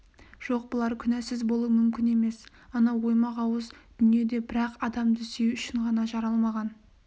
жоқ бұлар күнәсіз болуы мүмкін емес анау оймақ ауыз дүниеде бір-ақ адамды сүю үшін ғана жаралмаған